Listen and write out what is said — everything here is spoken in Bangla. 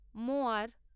মোয়ার